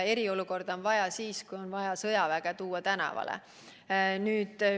Eriolukorda on vaja siis, kui on vaja sõjavägi tänavale tuua.